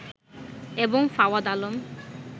এবং ফাওয়াদ আলম